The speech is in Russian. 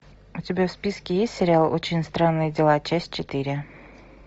у тебя в списке есть сериал очень странные дела часть четыре